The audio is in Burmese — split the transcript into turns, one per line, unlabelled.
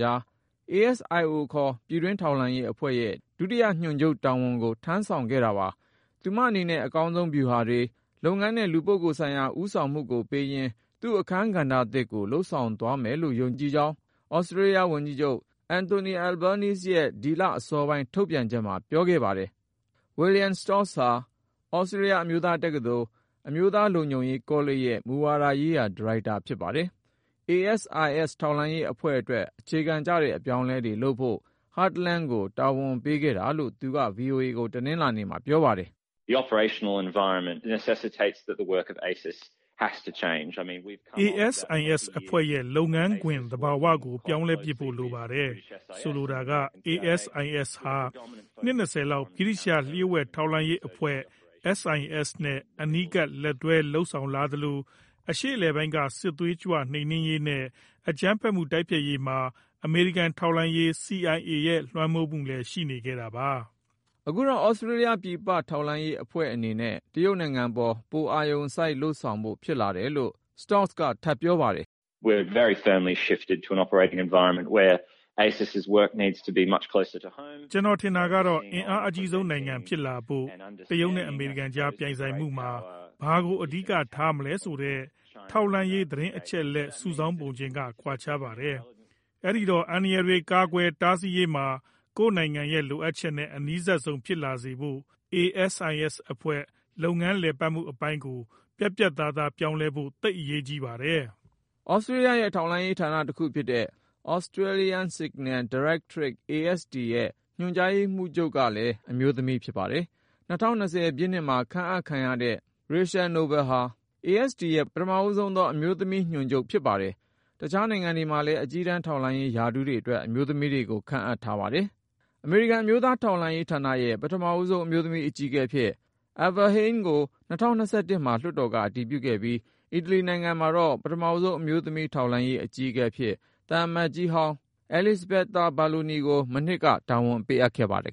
ကြား ASIO ခေါ် ပြည်တွင်းထောက်လှမ်းရေးအဖွဲ့ရဲ့ ဒုတိယ ညွှန်ချုပ်တာဝန်ကို ထမ်းဆောင်ခဲ့တာပါ။ သူမအနေနဲ့ အကောင်းဆုံးဗျူဟာတွေ၊ လုပ်ငန်းနဲ့ လူပုဂ္ဂိုလ်ဆိုင်ရာ ဦးဆာင်မှုကိုပေးရင်း သူ့ အခန်းကဏ္ဍသစ်ကို လုပ်ဆောင်သွားနိုင်မယ်ဆိုတာ ယုံကြည်တယ်လို့ သြစတြေးလျ ဝန်ကြီးချုပ် Anthony Albanese ရဲ့ ဒီလအစောပိုင်း ထုတ်ပြန်ချက်မှာ ပြောခဲ့ပါတယ်။ William Stoltz ဟာ သြစတြေးလျ အမျိုးသားတက္ကသိုလ် အမျိုးသား လုံခြုံရေး ကောလိပ်ရဲ့ မူဝါဒရေးရာ -ဒါရိုက်တာဖြစ်ပါတယ်။ ASIS ထောက်လှမ်းရေးအဖွဲ့အတွက် အခြေခံကျတဲ့ အပြောင်းအလဲတွေ လုပ်ဖို့ Hartland ကိုတာဝန်ပေးခဲ့တာလို့ သူက ဗွီအိုအေကို တနလာၤနေ့မှာ ပြောပါတယ်။ “ ASIS အဖွ
ဲ့ရဲ့ လုပ်ငန်းခွင် သဘာဝကို ပြောင်းလဲပစ်ဖို့ လိုနေပါတယ်။ ဆိုလိုတာက ASIS ဟာ နှစ် ၂၀ လောက် ဗြိတိသျှ လျှို့ဝှက်ထောက်လှမ်းရေးအဖွဲ့ SIS နဲ့ အနီးကပ်လက်တွဲ လုပ်လာသလို၊ အရှေ့အလယ်ပိုင်းက စစ်သွေးကြွ နှိမ်နင်းရေးနဲ့ အကြမ်းဖက်မှု တိုက်ဖျက်ရေးမှာ အမေရိကန်ထောက်လှမ်းရေး CIAရဲ့လွှမ်းမိုးမှုလည်း ရှိနေခဲ့တာပါ။
” အခုတော့ သြစတြေးလျ ပြည်ပထောက်လှမ်းရေးအဖွဲ့ အနေနဲ့ တရုတ်နိုင်ငံပေါ် ပိုအာရုံစိုက် လုပ်ဆောင်ဖို့ဖြစ်လာ တယ်လို့ Stoltz က ထပ်ပြောပါတယ်။
“
ကျနော်ထင်တာကတော့ အင်အားအကြီးဆုံးနိုင်ငံ ဖြစ်လာဖို့ တရုတ်နဲ့ အမေရိကန်ကြား ပြိုင်ဆိုင်မှုမှာ ဘာကို အဓိက ထားမလဲဆိုတဲ့ ထောက်လှမ်းရေး သတင်းအချက်အလက် စုဆောင်းပုံချင်းက ကွာခြားပါတယ်။ အဲဒီတော့ အန္တရာယ်တွေ ကာကွယ်တားဆီးရေးမှာ ကိုယ့်နိုင်ငံရဲ့လိုအပ်ချက်နဲ့ အနီးစပ်ဆုံး ဖြစ်လာစေဖို့ ASIS အဖွဲ့ လုပ်ငန်းလည်ပတ်မှု အပိုင်းကို ပြတ်ပြတ်သာသား ပြောင်းလဲဖို့ သိပ်အရေးကြီးပါတယ်။” သ
ြစတြေးလျရဲ့ ထောက်လှမ်းရေးဌာန တခု ဖြစ်တဲ့ Australian Signals Directorate ရဲ့ ညွှန်ကြားရေးမှူးချုပ်ကလည်း အမျိုးသမီး ဖြစ်ပါတယ်။ ၂၀၂၀ ပြည့်နှစ်မှာ ခန့်အပ်ခံရတဲ့ Rachel Nobel ဟာ ဆိုရင် ASD ရဲ့ ပထမဆုံးသော အမျိုးသမီး ညွှန်ကြားရေးမှူးချုပ် ဖြစ်ပါတယ်။ တခြားနိုင်ငံတွေမှာလည်း အကြီးတန်း ထောက်လှမ်းရေး ရာထူးတွေ အတွက် အမျိုးသမီးတွေကို ခန့်အပ်ထားကြပါတယ်။ အမေရိကန် အမျိုးသား ထောက်လှမ်းရေး ဌာနရဲ့ ပထမဆုံး အမျိုးသမီး အကြီးအကဲ အဖြစ် Avril Haines ကို ၂၀၂၁ မှာ လွှတ်တော်က အတည်ပြုခဲ့ပြီး ၊ အီတလီနိုင်ငံမှာတော့ ပထမဆုံး အမျိုးသမီး ထောက်လှမ်းရေး အကြီးအကဲ အဖြစ် သံအမတ်ကြီးဟောင်းဖြစ်တဲ့ Elisabetta Belloni ကို မနှစ်က တာဝန်ပေးခဲ့ပါတယ်